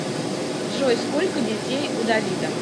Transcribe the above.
джой сколько детей у давида